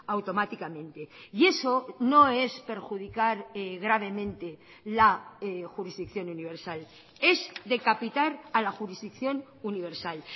automáticamente y eso no es perjudicar gravemente la jurisdicción universal es decapitar a la jurisdicción universal